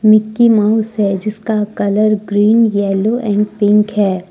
Mickey Mouse है जिसका colour green yellow and pink है।